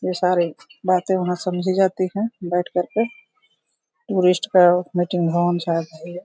ये सारे बातें वहाँ समझी जाती हैं बैठ करके गेस्ट का मीटिंग होम्स सायद है ये।